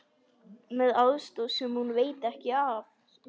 Með aðstoð sem hún veit ekki af.